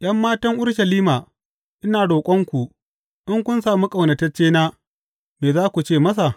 ’Yan matan Urushalima, ina roƙonku, in kun sami ƙaunataccena me za ku ce masa?